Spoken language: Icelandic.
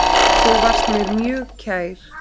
Þú varst mér mjög kær.